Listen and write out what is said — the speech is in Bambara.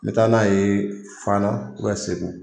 N be taa n'a ye fana segu.